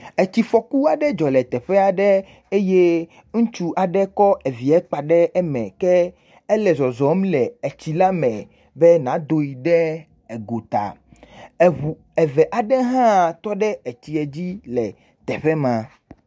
Tsifɔku aɖe dzɔ le teƒe aɖe eye ŋutsu aɖe kɔ vi kpa ɖe me ke ele zɔzɔm le tsi la me be yeado ɖe gota. Ŋu eve aɖe hã tɔ ɖe tsia dzi le afi ma.